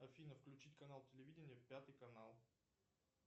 афина включить канал телевидения пятый канал